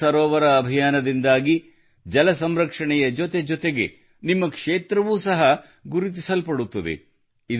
ಅಮೃತ್ ಸರೋವರ ಅಭಿಯಾನದಿಂದಾಗಿ ಜಲ ಸಂರಕ್ಷಣೆಯ ಜೊತೆಜೊತೆಗೆ ನಿಮ್ಮ ಕ್ಷೇತ್ರವೂ ಸಹ ಗುರುತಿಸಲ್ಪಡುತ್ತದೆ